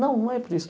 Não, não é por isso.